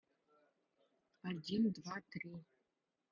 один два три